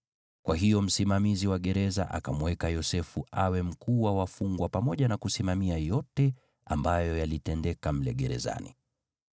Kwa hiyo msimamizi wa gereza akamweka Yosefu awe mkuu wa wafungwa pamoja na kusimamia yote ambayo yalitendeka mle gerezani.